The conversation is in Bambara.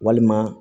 Walima